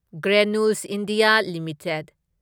granules India limited